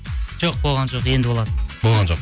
жоқ болған жоқ енді болады болған жоқ